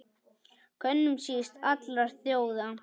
Könum síst allra þjóða!